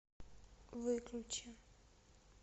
выключи